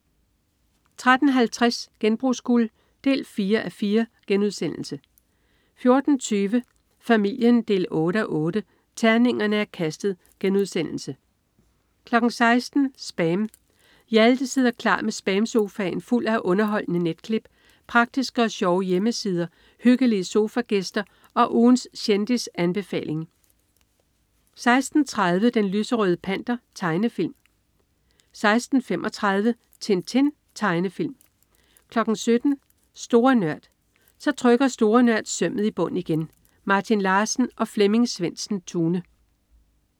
13.50 Genbrugsguld 4:4* 14.20 Familien 8:8. Terningerne er kastet* 16.00 SPAM. Hjalte sidder klar med SPAM-sofaen fuld af underholdende netklip, praktiske og sjove hjemmesider, hyggelige sofagæster og ugens kendisanbefaling 16.30 Den lyserøde Panter. Tegnefilm 16.35 Tintin. Tegnefilm 17.00 Store Nørd. Så trykker Store Nørd sømmet i bund igen. Martin Larsen og Flemming Svendsen-Tune